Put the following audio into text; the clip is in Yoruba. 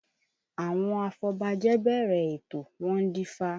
Àwọn afọbajẹ bẹ̀rẹ̀ ètò, wọ́n dífá